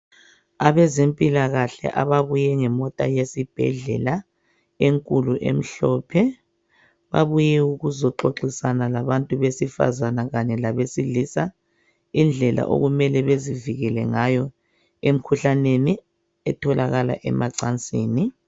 Abezempilakahle ababuye ngemota yesibhedlela enkulu emhlophe, babuye ukuzoxoxisana labantu besifazane kanye labantu besilisa ngendlela okumele bezivikele ngayo emkhuhlaneni etholakala emacansini.